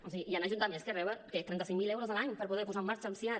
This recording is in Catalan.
o sigui hi han ajuntaments que reben trenta cinc mil euros l’any per poder posar en marxa un siad